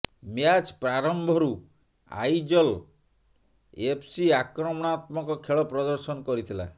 match ପ୍ରାରମ୍ଭରୁ Aizawl FC ଆକ୍ରମଣାତ୍ମକ ଖେଳ ପ୍ରଦର୍ଶନ କରିଥିଲା